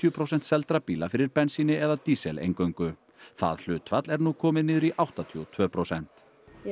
prósent seldra bíla fyrir bensíni eða dísil eingöngu það hlutfall er nú komið niður í áttatíu og tvö prósent